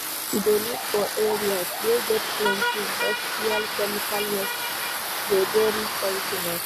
To de live for areas wey get plenty industrial chemical waste de very poisionous